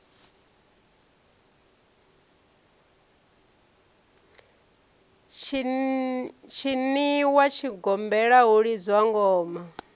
tshiniwa tshigombela hu lidzwa ngoma